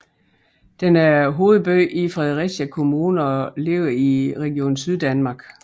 Den er hovedby i Fredericia Kommune og ligger i Region Syddanmark